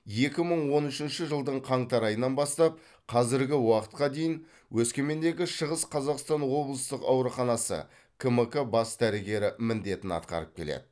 екі мың он үшінші жылдың қаңтар айынан бастап қазіргі уақытқа дейін өскемендегі шығыс қазақстан облыстық ауруханасы кмк бас дәрігері міндетін атқарып келді